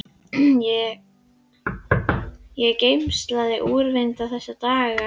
Ég er gersamlega úrvinda þessa dagana.